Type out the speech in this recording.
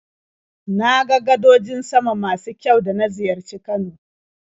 Na ga gadojin sama masu kyau da na ziyarci Kano.